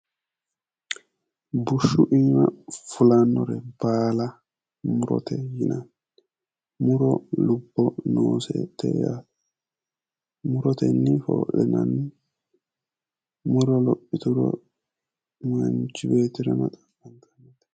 Bushshu iima fulannore baala murote yinanni. Muro lubbo noosete. Muritenni foo'linanni. Muro lophituro manchi beettira maa xaqqantanno?